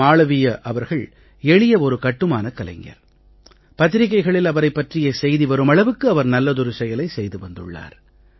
மாளவீய அவர்கள் எளிய ஒரு கட்டுமானக் கலைஞர் பத்திரிக்கைகளில் அவரைப் பற்றிய செய்தி வரும் அளவுக்கு அவர் நல்லதொரு செயலை செய்து வந்துள்ளார்